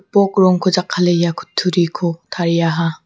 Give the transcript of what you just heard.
gipok rongko jakkale ia kutturiko tariaha.